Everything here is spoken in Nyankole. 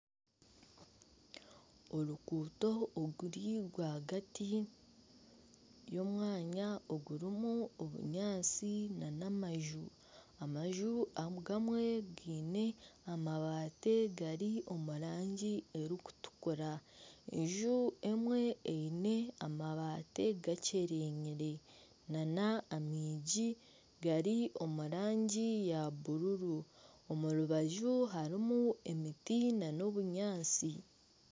Oruguuto oruri rwagati y'omwanya ogurimu obunyaatsi n'amaju, amaju agamwe giine amabati gari omu rangi erikutukura. Enju emwe eine amabati gakyerenyire nana amaigi gari omu rangi ya bururu omu rubaju harimu emiti n'obunyaatsi.